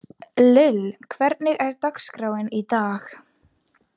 Lill, hvernig er dagskráin í dag?